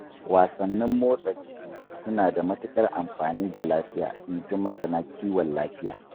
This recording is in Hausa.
Wasannin motsa jiki suna da matuƙar amfani ga lafiya, inji masana kiwon lafiya